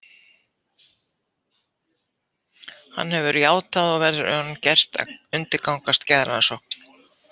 Hann hefur játað og verður honum gert að undirgangast geðrannsókn.